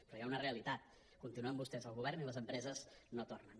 però hi ha una realitat continuen vostès al govern i les empreses no tornen